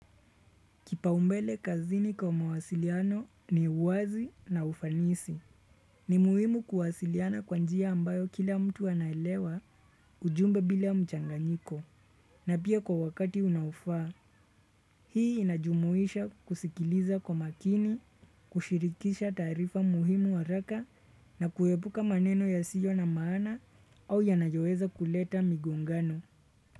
Kipaumbele kazini kwa mawasiliano ni uwazi na ufanisi. Ni muhimu kuwasiliana kwa njia ambayo kila mtu anaelewa ujumbe bila mchanganyiko. Na pia kwa wakati unaofaa, hii inajumuisha kusikiliza kwa makini, kushirikisha taarifa muhimu haraka na kuepuka maneno yasiyo na maana, au yanayoweza kuleta migongano.